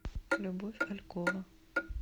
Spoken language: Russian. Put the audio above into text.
любовь алькова